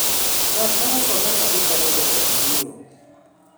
ng'at mauso omena odhi kanye to koth biro?